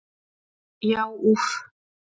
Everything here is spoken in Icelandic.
Já úff!